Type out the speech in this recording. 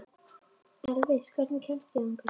Elvis, hvernig kemst ég þangað?